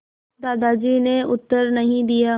दादाजी ने उत्तर नहीं दिया